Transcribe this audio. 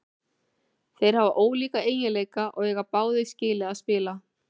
Þeir hafa ólíka eiginleika og eiga báðir skilið að spila.